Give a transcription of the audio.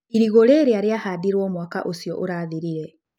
Irigũ rĩrĩa rĩahandirwo mwaka ũcio ũrathirire.